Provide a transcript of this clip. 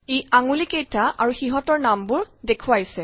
ই আঙুলি কেইটা আৰু সিহঁতৰ নামবোৰ দেখুৱাইছে